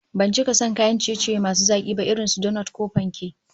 Ban cika son kayan ciye-ciye masu zaki ba irin su donot ko panke